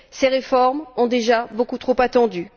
Ces réformes ont déjà beaucoup trop attendu.